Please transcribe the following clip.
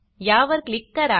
या वर क्लिक करा